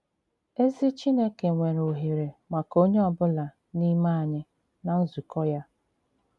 Èzì Chìnékè nwere òhèrè maka onye ọ̀bụ̀la n'ime ànyị̀ ná nzùkọ ya.